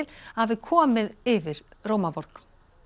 að hafi komið yfir Rómarborg